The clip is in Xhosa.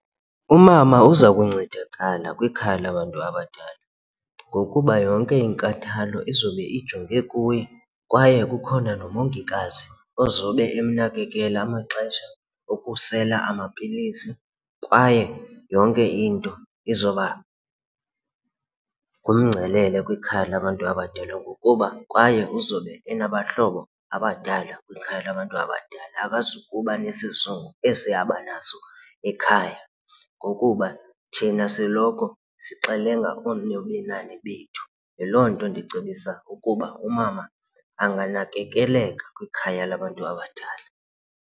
Umama uza kuncedakala kwikhaya labantu abadala ngokuba yonke inkathalo izobe ijonge kuye kwaye kukhona nomongikazi ozobe emnakekele amaxesha okusela amapilisi kwaye yonke into izoba ngumngcelele kwikhaya labantu abadala ngokuba kwaye uzobe enabahlobo abadala kwikhaya labantu abadala akazukuba nesizungu esi abanaso ekhaya ngokuba thina siloko sixelenga oonobenani bethu. Yiloo nto ndicebisa ukuba umama anganakekeleka kwikhaya labantu abadala.